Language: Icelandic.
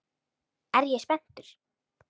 Er ég spenntur?